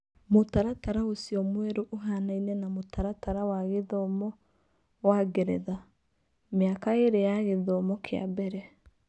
Mũtaratara ũcio mwerũ ũhaanaine na mũtaratara wa gĩthomo wa Ngeretha: mĩaka ĩĩrĩ ya gĩthomo kĩa mbere.